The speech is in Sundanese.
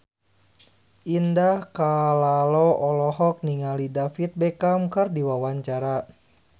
Indah Kalalo olohok ningali David Beckham keur diwawancara